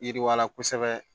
Yiriwala kosɛbɛ